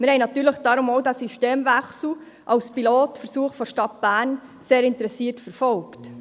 Wir haben deshalb natürlich auch diesen Systemwechsel als Pilotversuch der Stadt Bern sehr interessiert verfolgt.